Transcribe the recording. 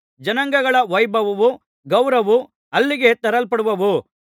ಜನಾಂಗಗಳ ವೈಭವವೂ ಗೌರವವೂ ಅಲ್ಲಿಗೆ ತರಲ್ಪಡುವವು